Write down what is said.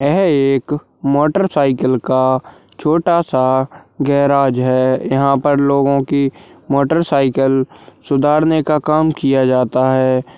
यह एक motorcycle का छोटा सा गैराज है यहाँ पर लोगो की मोटर साइकिल सुधारने का काम किया जाता है।